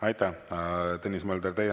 Aitäh, Tõnis Mölder!